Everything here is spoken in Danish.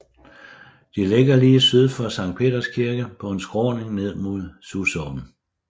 De ligger lige syd for Sankt Peders Kirke på en skråning ned mod Susåen